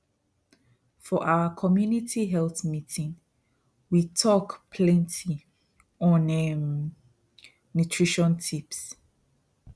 for our community health meetingwe talked plenty on um nutrition tips